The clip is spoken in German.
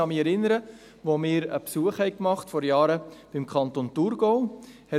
Ich erinnere mich, als wir vor Jahren einen Besuch im Kanton Thurgau machten.